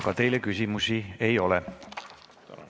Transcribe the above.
Ka teile küsimusi ei ole.